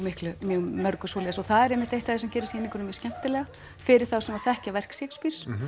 mörgu svoleiðis og það er einmitt eitt sem gerir sýninguna mjög skemmtilega fyrir þá sem þekkja verk Shakespeares